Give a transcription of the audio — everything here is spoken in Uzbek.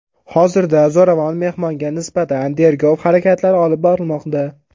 Hozirda zo‘ravon mehmonga nisbatan tergov harakatlari olib borilmoqda.